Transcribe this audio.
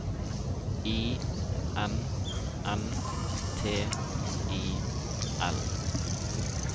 I N N T I L